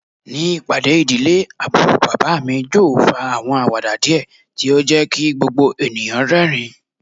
Ni ipade idile, Aburo baba mi Joe fa awọn awada diẹ ti o jẹ ki gbogbo eniyan rẹrin